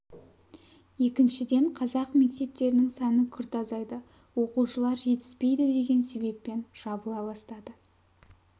екіншіден қазақ мектептерінің саны күрт азайды оқушылар жетіспейді деген себеппен жабыла бастады